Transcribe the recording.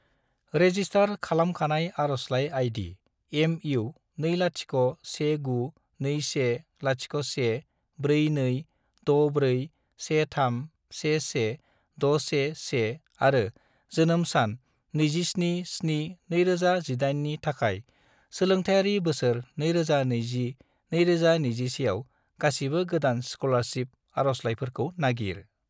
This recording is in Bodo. रेजिस्टार खालामखानाय आरजलाइ आई.डी. MU2019210142641311611 आरो जोनोम सान 27-7-2018 नि थाखाय सोलोंथायारि बोसोर 2020 - 2021 आव गासिबो गोदान स्कलारसिप आरजलाइफोरखौ नागिर।